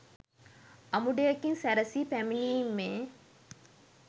අමුඩයකින් සැරසී පැමිණිමේ